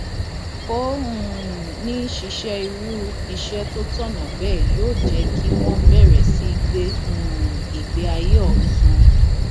ṣùgbọn pẹlú pé buhari fọwọ sí i lọsẹ tó kọjá náà àtúnṣe padà bá àwọn ọjọ ìdìbò ọhún